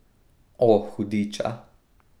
O, hudiča.